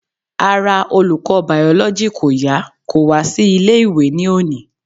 Ara olùkọ́ biology kò yá kò wá sí ilé ìwé ní òní.